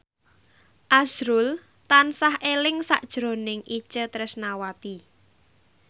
azrul tansah eling sakjroning Itje Tresnawati